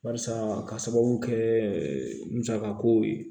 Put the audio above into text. Barisa ka sababu kɛ musaka ko ye